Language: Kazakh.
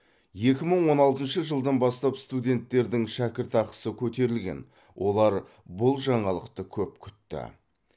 екі мың он алтыншы жылдан бастап студенттердің шәкіртақысы көтерілген олар бұл жаңалықты көп күтті